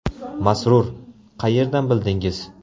Masrur: Qayerdan bildingiz?